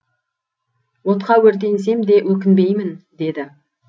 отқа өртенсем де өкінбеймін деді